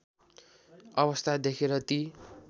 अवस्था देखेर ती